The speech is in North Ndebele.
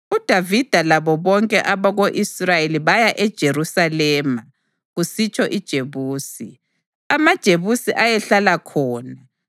UDavida labo bonke abako-Israyeli baya eJerusalema (kusitsho iJebusi). AmaJebusi ayehlala khona